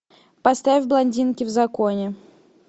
поставь блондинки в законе